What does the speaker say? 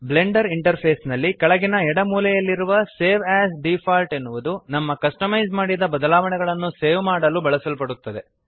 Blender interface ನಲ್ಲಿ ಕೆಳಗಿನ ಎಡ ಮೂಲೆಯಲ್ಲಿರುವ ಸೇವ್ ಎಎಸ್ ಡಿಫಾಲ್ಟ್ ಎನ್ನುವುದು ನಮ್ಮ ಕಸ್ಟಮೈಜ್ ಮಾಡಿದ ಬದಲಾವಣೆಗಳನ್ನು ಸೇವ್ ಮಾಡಲು ಬಳಸಲ್ಪಡುತ್ತದೆ